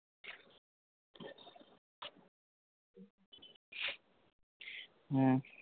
হম